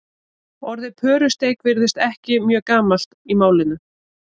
orðið pörusteik virðist ekki mjög gamalt í málinu